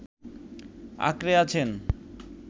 আঁকড়ে আছেন